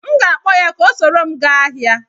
M ga-akpọ ya ka o soro m gaa ahịa.